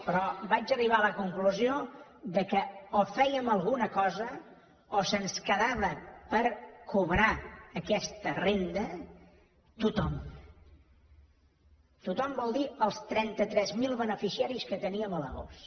però vaig arribar a la conclusió que o fèiem alguna cosa o se’ns quedava per cobrar aquesta renda tothom tothom vol dir els trenta tres mil beneficiaris que teníem a l’agost